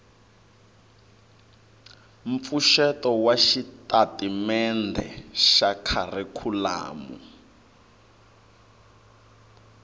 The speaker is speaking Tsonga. mpfuxeto wa xitatimendhe xa kharikhulamu